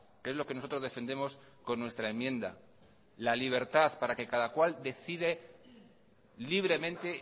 que es lo que nosotros defendemos con nuestra enmienda la libertad para que cada cual decide libremente